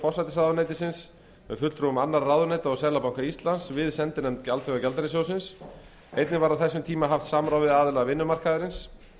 forsætisráðuneytisins með fulltrúum annarra ráðuneyta og seðlabanka íslands við sendinefnd alþjóðagjaldeyrissjóðsins einnig var á þessum tíma haft samráð við aðila vinnumarkaðarins